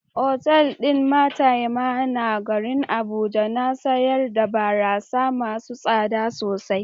Otal din Maitama na garin Abuja na sayar da barasa masu tsada sosai.